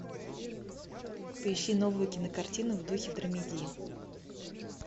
поищи новую кинокартину в духе драмеди